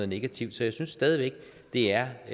negativt så jeg synes stadig væk det er